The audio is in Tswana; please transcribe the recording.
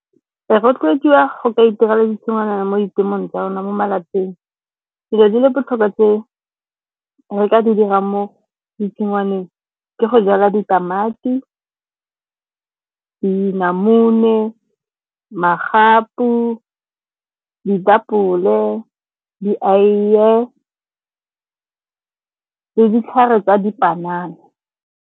Re rotloediwa go itirela tshingwana mo ditemong tsa rona, mo malapeng. Dilo di le botlhokwa tse re ka di dirang mo ditshingwaneng ke go jala ditamati, dinamune, magapu, ditapole, dieiye le ditlhare tsa dipanana.